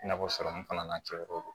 I n'a fɔ sɔrɔmu fana n'a cɛ ko don